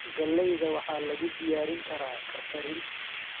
Galleyda waxaa lagu diyaarin karaa karkarin.